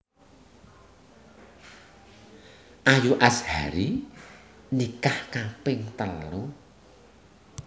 Ayu Azhari nikah kaping telu